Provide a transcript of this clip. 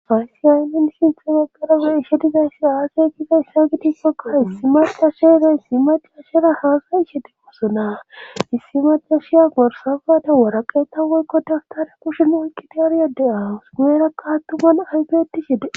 faysiyayi min sinthemagarabe ishedizayssi aaseykiza isha gitissoka issi malxa sheeray issi macashera haasa ishete wosonaa issi macashiya gorsafata waraqeeta woykko tagtare pushen oykkiti aryade awusuumeerakka hattuman ayfeti hede